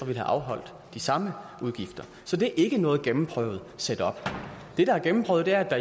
have afholdt de samme udgifter så det er ikke noget gennemprøvet setup det der er gennemprøvet er at